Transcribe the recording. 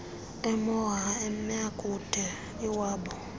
emoha emakube iwaba